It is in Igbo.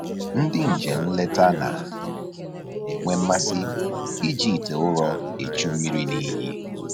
Ndị njem nleta na-enwe mmasị iji ite ụrọ echu mmiri n'iyi